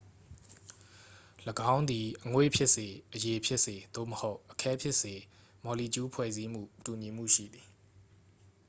၎င်းသည် အငွေ့ဖြစ်စေ အရည်ဖြစ်စေ သို့မဟုတ် အခဲဖြစ်စေ မော်လီကျူးဖွဲ့စည်းပုံ တူညီမှုရှိသည်